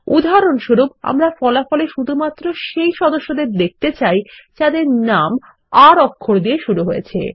উদাহরণস্বরূপ আমরা ফলাফল এ শুধুমাত্র সেই সদস্যদের দেখতে চাই যাদের নাম আর অক্ষর দিয়ে শুরু হয়েছে